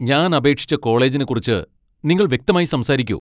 ഞാൻ അപേക്ഷിച്ച കോളേജിനെക്കുറിച്ച് നിങ്ങൾ വ്യക്തമായി സംസാരിക്കു.